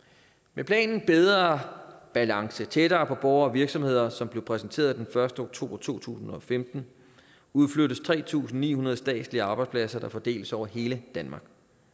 med planen bedre balance tættere på borgere og virksomheder som blev præsenteret den første oktober to tusind og femten udflyttes tre tusind ni hundrede statslige arbejdspladser der fordeles over hele danmark